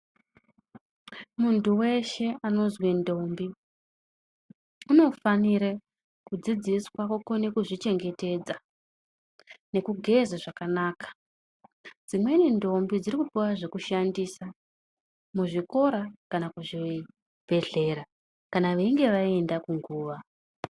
Muntu weshe anozwi ndombi unofanire kudzidziswa kukone kuzvichengetedza nekugeza zvakanaka. Dzimweni ndombi dziri kupuwa zvekushandisa, muzvikora kana kuzvibhedhlera kana vainge vaenda kunguva.